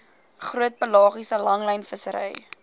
groot pelagiese langlynvissery